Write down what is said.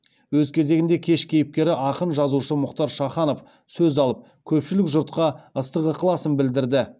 өз кезегінде кеш кейіпкері ақын жазушы мұхтар шаханов сөз алып көпшілік жұртқа ыстық ықыласын білдірді